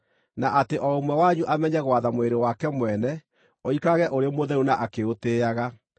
na atĩ o ũmwe wanyu amenye gwatha mwĩrĩ wake mwene ũikarage ũrĩ mũtheru na akĩũtĩĩaga,